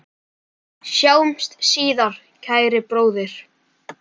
Sjáumst síðar, kæri bróðir.